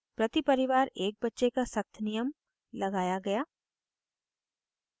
प्रति परिवार एक बच्चे का सख्त नियम लगाया गया